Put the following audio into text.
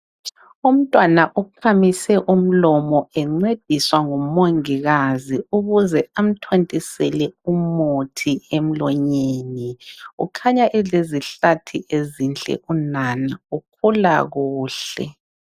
Umntwana ukhamise umlomo encediswa ngumongikazi ukuze amthontisele umuthi emlonyeni. Ukhanya elezihlathi ezinhle unana ukhula kuhle.